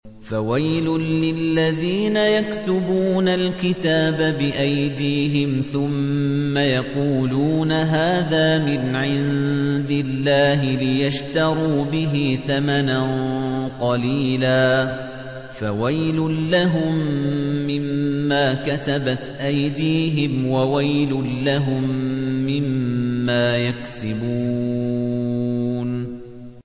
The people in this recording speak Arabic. فَوَيْلٌ لِّلَّذِينَ يَكْتُبُونَ الْكِتَابَ بِأَيْدِيهِمْ ثُمَّ يَقُولُونَ هَٰذَا مِنْ عِندِ اللَّهِ لِيَشْتَرُوا بِهِ ثَمَنًا قَلِيلًا ۖ فَوَيْلٌ لَّهُم مِّمَّا كَتَبَتْ أَيْدِيهِمْ وَوَيْلٌ لَّهُم مِّمَّا يَكْسِبُونَ